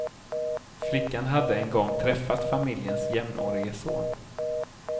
Flickan hade en gång träffat familjens jämnårige son.